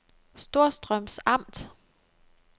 Storstrøms Amt